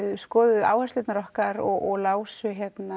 skoðuðu áherslurnar okkar og lásu